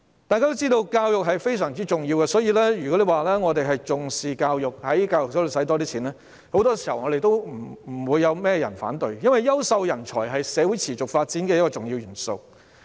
大家都知道教育非常重要，我們重視教育，如果在教育方面多花公帑，多數不會有人反對，因為優秀人才是社會持續發展的重要元素。